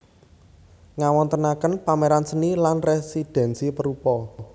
Ngawontenaken pameran seni lan residensi perupa